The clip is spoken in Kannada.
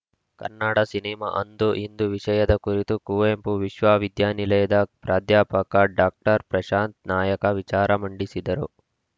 ಕನ್ನನಾಡ ಸಿನಿಮಾ ಅಂದು ಇಂದು ವಿಷಯದ ಕುರಿತು ಕುವೆಂಪು ವಿಶ್ವವಿದ್ಯಾನಿಲಯದ ಪ್ರಾಧ್ಯಾಪಕ ಡಾಕ್ಟರ್ ಪ್ರಶಾಂತ ನಾಯಕ ವಿಚಾರ ಮಂಡಿಸಿದರು